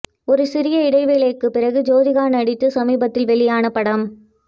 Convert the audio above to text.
ஒரு சிறிய இடைவெளிக்கு பிறகு ஜோதிகா நடித்து சமீபத்தில் வெளியான படம்